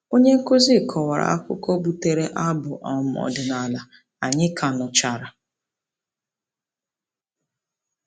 Onyenkụzi kọwara akụkọ butere abụ um ọdịnala anyị ka nụchara.